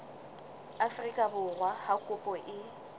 afrika borwa ha kopo e